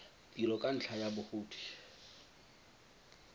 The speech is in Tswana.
tiro ka ntlha ya bogodi